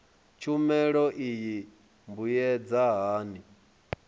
tshumelo iyi i mbuyedza hani